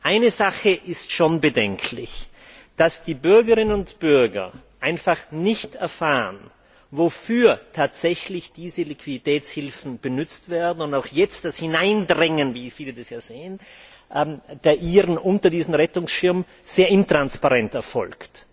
Nur eine Sache ist schon bedenklich Dass die Bürgerinnen und Bürger einfach nicht erfahren, wofür tatsächlich diese Liquiditätshilfen benutzt werden, und auch jetzt das Hineindrängen, wie viele das sehen, der Iren unter diesen Rettungsschirm sehr intransparent erfolgt.